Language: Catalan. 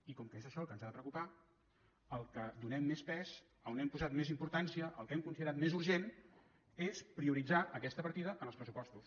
i com que és això el que ens ha de preocupar al que donem més pes a on hem posat més importància el que hem considerat més urgent és prioritzar aquesta partida en els pressupostos